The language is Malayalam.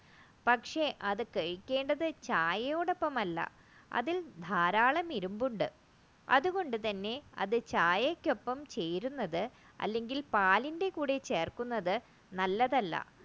പക്ഷേ അത് കഴിക്കേണ്ടത് ചായയോടൊപ്പമല്ല അതിൽ ധാരാളം ഇരുമ്പുണ്ട് അതുകൊണ്ട് തന്നെ ചായക്കൊപ്പം ചേരുന്നത് പാലിന്റെ കൂടെ ചേർക്കുന്നത് നല്ലതല്ല